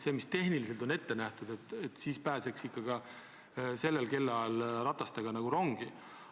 Kui ikka tehniliselt on ette nähtud, et ratastega peab rongi pääsema, siis peaks seda saama teha igal kellaajal.